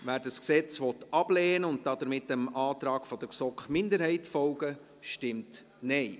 wer dieses Gesetz ablehnen will und damit dem Antrag der GSoK-Minderheit folgen will, stimmt Nein.